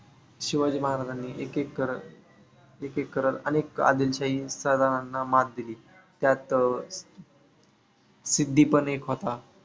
शिवाजी महाराजांनी एक एक करत एक एक करत अनेक आदिलशाही सरदारांना मात दिली. त्यात अं सिद्धी पण एक होता.